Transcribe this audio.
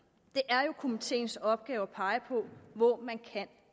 det er jo komiteens opgave at pege på hvor man kan